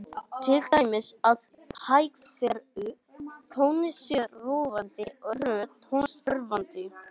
Til dæmis að hægferðug tónlist sé róandi og hröð tónlist örvandi.